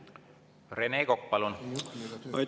Rene Kokk, palun!